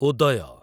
ଉଦୟ